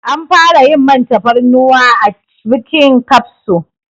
An fara yin man tafarnuwa a cibbbbhhkin kafso